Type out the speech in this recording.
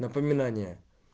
напоминание